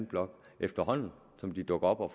blok efterhånden som de dukker op og